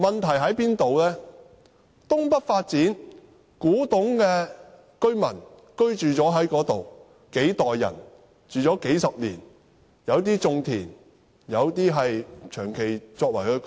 在東北發展區內，數代古洞居民已經在那裏居住了數十年，有些種田，有些長期居住在那裏。